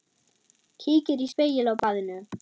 Kíkir í spegil á baðinu.